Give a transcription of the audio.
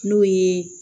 N'o ye